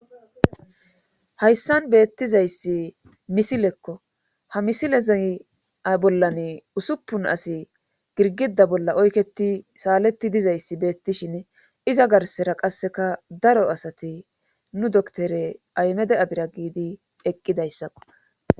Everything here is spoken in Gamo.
hayssan beettizayssi misilekko ha misileza bollane usuppun asi girgida bolla oyketi saaleti dizayssi beettishin iza garsera qasseka daro asati nu doktore aymede abira giidi eqqidayssakko